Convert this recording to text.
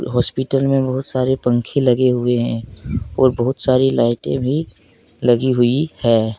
Hospital में बहुत सारे पंखे लगे हुए है और बहुत सारी लाइटे भी लगी हुयी है।